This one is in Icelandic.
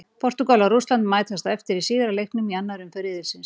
Portúgal og Rússland mætast á eftir í síðari leiknum í annari umferð riðilsins.